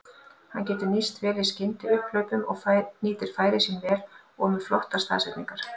Hann getur nýst vel í skyndiupphlaupum og nýtir færin sín vel og með flottar staðsetningar.